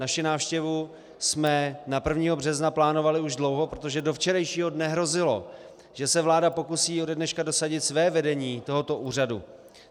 Naši návštěvu jsme na 1. března plánovali už dlouho, protože do včerejšího dne hrozilo, že se vláda pokusí ode dneška dosadit své vedení tohoto úřadu.